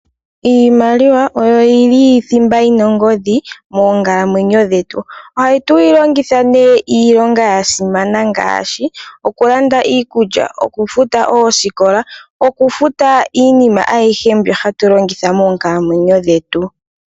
Iimaliwa oyo yili thimba yi na ongodhi moonkalamwenyo dhetu. Ohatu yi longitha nee iilonga ya simana ngaashi okulanda iikulya, okufuta oosikola, okufuta iinima ayihe mbyoka hatu longitha moonkalamwenyo dhetu.